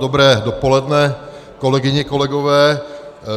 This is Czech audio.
Dobré dopoledne, kolegyně, kolegové.